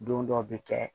Don dɔ bi kɛ